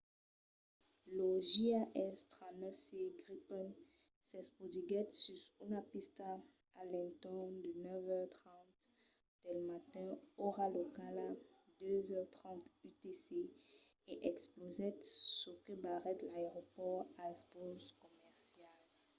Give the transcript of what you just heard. lo jas 39c gripen s'espotiguèt sus una pista a l'entorn de 9:30 del matin ora locala 02:30 utc e explosèt çò que barrèt l'aeropòrt als vòls comercials